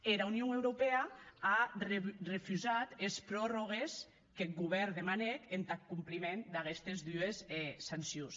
era union europèa a refusat es prorrògues qu’eth govèrn demanèc entath compliment d’aguestes dues sancions